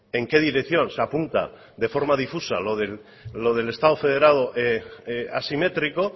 en qué dirección se apunta de forma difusa lo del estado federado asimétrico